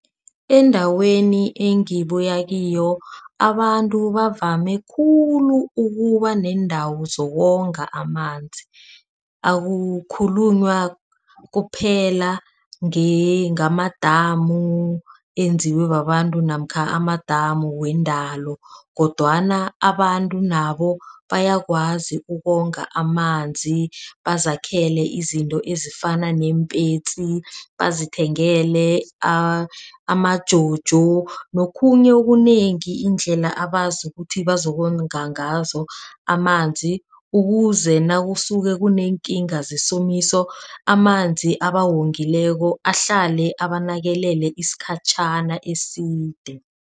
Endaweni ekungibuya kiyo abantu bavame khulu ukuba neendawo zokonga amanzi. Akukhulunywa kuphela ngamadamu enziwe babantu namkha amadamu weendalo kodwana abantu nabo bayakwazi ukonga amanzi bazakhele izinto ezifana neempetsi bazithengele amajojo nokhunye okunengi. Iindlela abazi ukuthi bazokonga ngazo amanzi ukuze nakusuke kuneekinga zesomiso, amanzi abawongileyo ahlale abanakelele isikhatjhana eside.